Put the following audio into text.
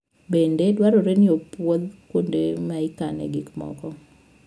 Bende dwarore ni opwodh kuonde ma ikanoe gik moko.